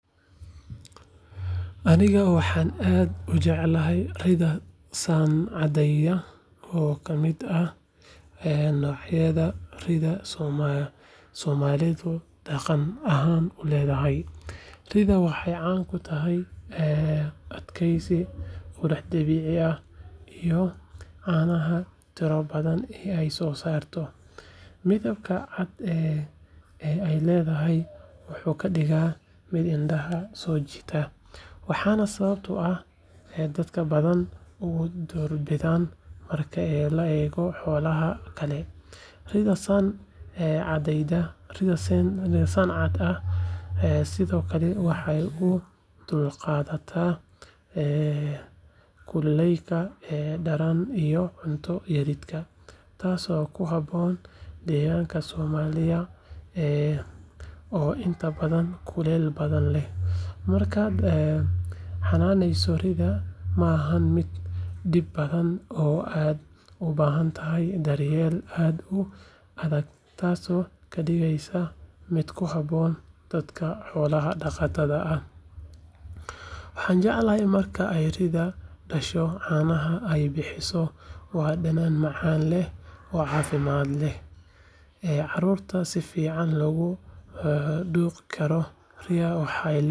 Aniga waxaa aad ujeclahay ridha san cadeya oo kamiid ah ee laxyaada ridha somalidu daqan ahan uledhahay, ridha waxee can kutahay adgesi qurax dabici ah cana tiro badan in ee so sarto, midabka cad ee ledahy wuxuu kadigaa miid indaha so jitaa, waxana sawabta ah ee dadka udor bidan, ridha waxee sithokale ee u dulqadatha kulelka sidha deganka somaliya oo inta badan kulel badan leh, marka xananeyso ridha maha miid dib badan, waxan jeclahay marka ee ridha dasho canaha ee bixiso waa danan macan eh carurta sifican loga duqi karo ridha waxee ledhahay.